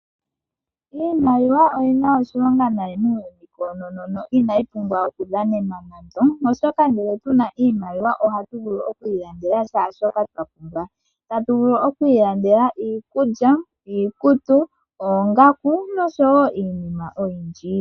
Iimaliwa oyina oshilonga nayi muuyuni koonono inayi pumbwa oku dhanenwa nando, oshoka ngele tuna oshimaliwa ohatu vulu oku ilandela shoka twa pumbwa tatu vulu oku ilandela iikulya ,iikutu, oongaku noshowo iinima oyindji.